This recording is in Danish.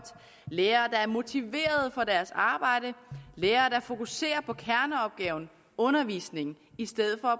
lærere der er motiveret for deres arbejde lærere der fokuserer på kerneopgaven undervisningen i stedet for